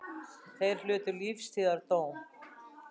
Þrír hlutu lífstíðardóm